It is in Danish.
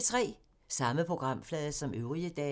Samme programflade som øvrige dage